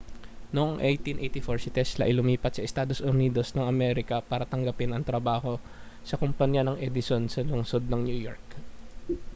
noong 1884 si tesla ay lumipat sa estados unidos ng amerika para tanggapin ang trabaho sa kompanya ng edison sa lungsod ng new york